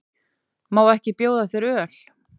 Má ekki bjóða þér öl?